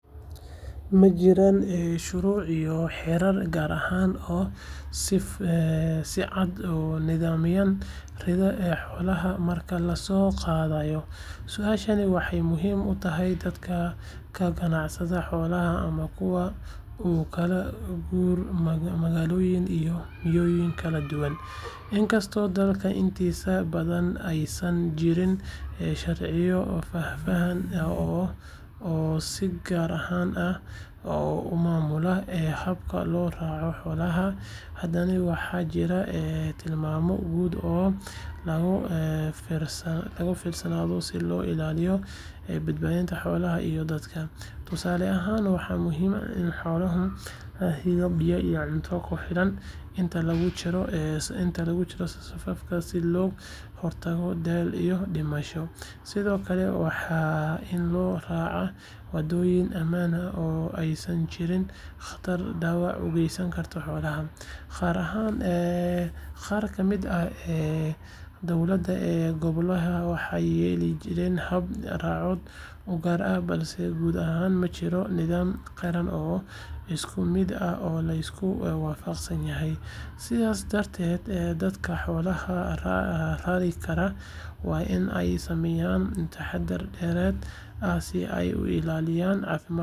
Ma jiraan shuruuc iyo xeerar gaar ah oo si cad u nidaamiya raridda xoolaha marka la soo qaadayo? Su’aashaas waxay muhiim u tahay dadka ka ganacsada xoolaha ama kuwa u kala guura magaalooyin iyo miyiyo kala duwan. Inkastoo dalka intiisa badan aysan jirin sharciyo faahfaahsan oo si gaar ah u maamula habka loo raro xoolaha, haddana waxaa jira tilmaamo guud oo laga fiirsado si loo ilaaliyo badbaadada xoolaha iyo dadka. Tusaale ahaan, waxaa muhiim ah in xoolaha la siiyo biyo iyo cunto ku filan inta lagu jiro safarka, si looga hortago daal iyo dhimasho. Sidoo kale, waa in loo raacaa waddooyin ammaan ah oo aysan jirin khataro dhaawac u geysan kara xoolaha. Qaar ka mid ah dowlad-goboleedyada waxay leeyihiin hab-raacyo u gaar ah, balse guud ahaan ma jiro nidaam qaran oo isku mid ah oo la isku waafaqsan yahay. Sidaas darteed, dadka xoolaha rari kara waa in ay sameeyaan taxaddar dheeraad ah si ay u ilaaliyaan caafimaadka iyo badbaadada xoolaha safarka dheer inta lagu jiro.